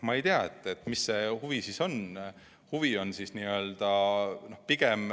Ma ei tea, milline see huvi siis on.